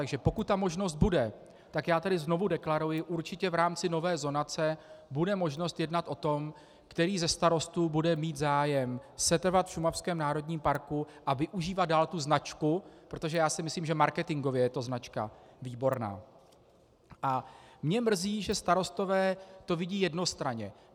Takže pokud ta možnost bude, tak já tady znovu deklaruji, určitě v rámci nové zonace bude možnost jednat o tom, který ze starostů bude mít zájem setrvat v šumavském národním parku a využívat dál tu značku - protože já si myslím, že marketingově je to značka výborná, a mě mrzí, že starostové to vidí jednostranně.